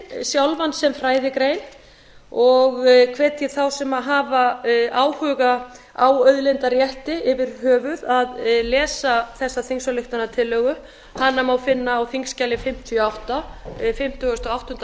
auðlindaréttinn sjálfan sem fræðigrein og hvet ég þá sem hafa áhuga á auðlindarétti yfir höfuð að lesa þessa þingsályktunartillögu hana má finna á þingskjali fimmtíu og átta fimmtugasta og áttunda